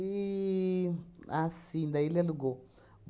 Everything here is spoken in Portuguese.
E, assim, daí ele alugou.